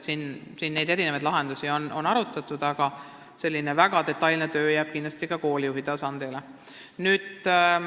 On arutatud erinevaid lahendusi, aga detailsem töö jääb kindlasti koolijuhi tasandile.